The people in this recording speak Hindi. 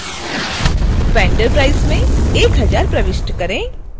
vendor price में 1000 प्रविष्ट करें